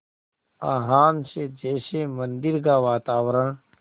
आह्वान से जैसे मंदिर का वातावरण